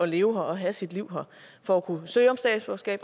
leve her og have sit liv her for at kunne søge